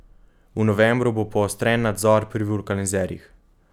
V novembru bo poostren nadzor pri vulkanizerjih.